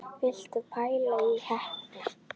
Viltu pæla í heppni!